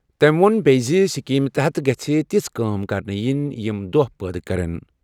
تٔمۍ ووٚن بیٚیہِ زِ اسکیمہِ تحت گژھن یِتھۍ کٲم کرنہٕ یِنۍ یِم دۄہ پٲدٕ کرن۔